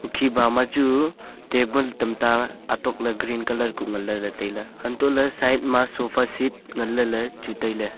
hukhi bama chu table tamta atokla green colour ku nganle ley tailey hantole side ma sofa seat nganle ley chu tailey.